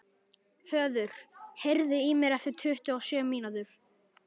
Höður, heyrðu í mér eftir tuttugu og sjö mínútur.